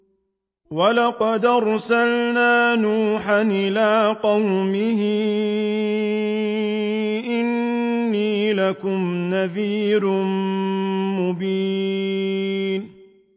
وَلَقَدْ أَرْسَلْنَا نُوحًا إِلَىٰ قَوْمِهِ إِنِّي لَكُمْ نَذِيرٌ مُّبِينٌ